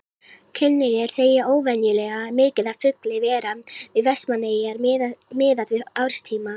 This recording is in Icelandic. Kunnugir segja óvenjulega mikið af fugli vera við Vestmannaeyjar miðað við árstíma.